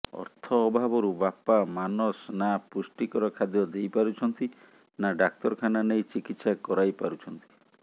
ଅର୍ଥ ଅଭାବରୁ ବାପା ମାନାସ ନା ପୁଷ୍ଟିକର ଖାଦ୍ୟ ଦେଇ ପାରୁଛନ୍ତି ନା ଡାକ୍ତରଖାନା ନେଇ ଚିକିତ୍ସା କରାଇପାରୁଛନ୍ତି